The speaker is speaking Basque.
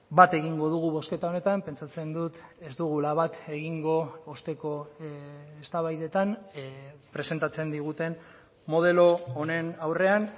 bat egingo dugu bozketa honetan pentsatzen dut ez dugula bat egingo osteko eztabaidetan presentatzen diguten modelo honen aurrean